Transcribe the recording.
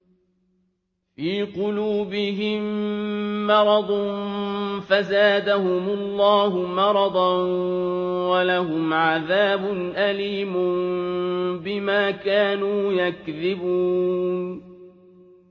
فِي قُلُوبِهِم مَّرَضٌ فَزَادَهُمُ اللَّهُ مَرَضًا ۖ وَلَهُمْ عَذَابٌ أَلِيمٌ بِمَا كَانُوا يَكْذِبُونَ